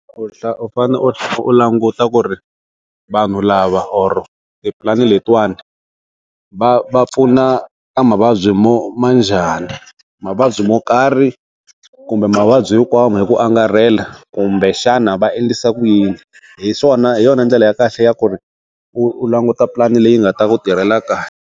U fane u languta ku ri vanhu lava or tipulani letiwana va va pfuna ka mavabyi mo ma njhani, mavabyi mo karhi kumbe mavabyi hinkwawo hi ku angarhela kumbexana va endlisa ku yini, hi swona hi yona ndlela ya kahle ya ku ri u languta pulani leyi nga ta ku tirhela kahle.